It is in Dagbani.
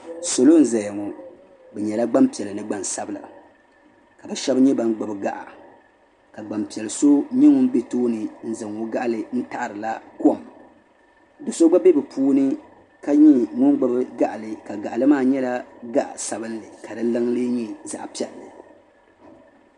Salo n zaya ŋɔ bɛ nyɛla gbampiɛla ni gbansabla ka bɛ sheba nyɛ ban gbibi gaɣa ka gbampiɛlli so nyɛ ŋun be tooni n zaŋ o gaɣali n taɣarila kom do'so gba be bɛ puuni ka nyɛ ŋun gbibi gaɣali gaɣali maa nyɛla zaɣa sabinli ka di liŋa lee nyɛ zaɣa piɛlli.